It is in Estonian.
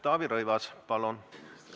Taavi Rõivas, palun!